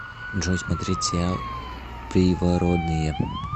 джой смотреть сериал привородные